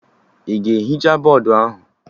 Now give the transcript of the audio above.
Ị ga-ehicha bọdụ ahụ?